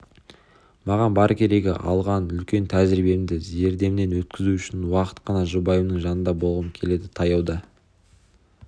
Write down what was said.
маған бар керегі алған үлкен тәжірибемді зердемнен өткізу үшін уақыт қана жұбайымның жанында болғым келеді таяуда